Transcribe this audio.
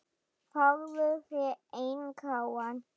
Fáðu þér einn gráan!